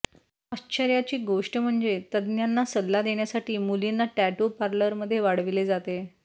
आश्चर्याची गोष्ट म्हणजे तज्ञांना सल्ला देण्यासाठी मुलींना टॅटू पार्लरमध्ये वाढविले जाते